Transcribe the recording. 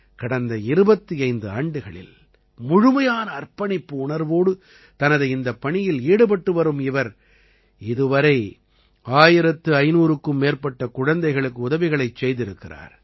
கடந்த 25 ஆண்டுகளில் முழுமையான அர்ப்பணிப்பு உணர்வோடு தனது இந்தப் பணியில் ஈடுபட்டு வரும் இவர் இதுவரை 1500க்கும் மேற்பட்ட குழந்தைகளுக்கு உதவிகளைச் செய்திருக்கிறார்